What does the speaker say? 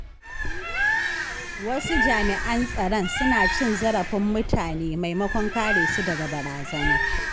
Wasu jami’an tsaron suna cin zarafin mutane maimakon kare su daga barazana.